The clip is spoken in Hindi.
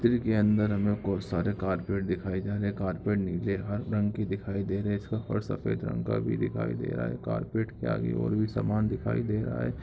चित्र के अंदर हमें बहुत सारे कारपेट दिखाई दे रहे हैं कारपेट नीले हर रंग के दिखाई दे रहे सफर सफेद रंग का भी दिखाई दे रहा है कारपेट के आगे ओर भी सामान दिखाई दे रहा है।